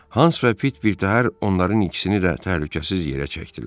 Hans və Pit birtəhər onların ikisini də təhlükəsiz yerə çəkdilər.